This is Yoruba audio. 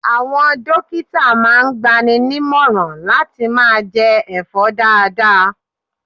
Àwọn dókítà máa ń gbaninímọ̀ran láti máa jẹ ẹ̀fọ́ dáadáa.